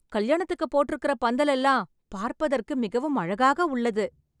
கல்யாணத்துக்குப் போட்டு இருக்குற பந்தல் எல்லாம் பார்ப்பதற்கு மிகவும் அழகாக உள்ளது